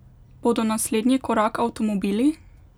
Bodo naslednji korak avtomobili?